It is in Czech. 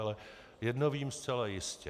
Ale jedno vím zcela jistě.